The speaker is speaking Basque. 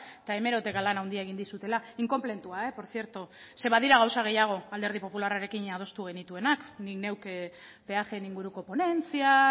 eta hemeroteka lan handia egin dizutela inkonpletua por cierto zeren badira gauza gehiago alderdi popularrarekin adostu genituenak ni neuk peajeen inguruko ponentzia